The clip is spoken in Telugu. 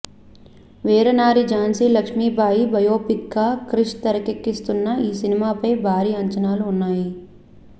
వీరనారి ఝాన్సీ లక్ష్మి భయ బయోపిక్ గా క్రిష్ తెరకెక్కిస్తున్న ఈ సినిమాపై భారీ అంచనాలు ఉన్నాయి